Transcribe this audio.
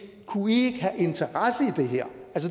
kunne i have en interesse i det her